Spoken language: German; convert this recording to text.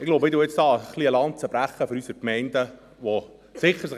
Ich glaube, ich werde hier eine Lanze für unsere Gemeinden brechen.